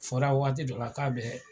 Fɔra waati dɔ la k'a bɛ